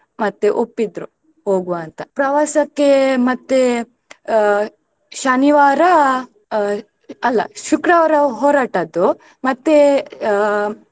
ಮತ್ತೆ ಒಪ್ಪಿದ್ರೂ ಹೋಗುವಾ ಅಂತ ಪ್ರವಾಸಕ್ಕೆ ಮತ್ತೆ ಆ ಶನಿವಾರ ಆ ಅಲ್ಲ ಶುಕ್ರವಾರ ಹೊರಟದ್ದು ಮತ್ತೆ ಆ.